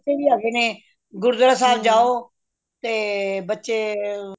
ਬੱਚੇ ਵੀ ਹੈਗੇ ਨੇ ਗੁਰੂਦੁਆਰੇ ਸਾਹਿਬ ਜਾਓ ਤੇ ਬੱਚੇ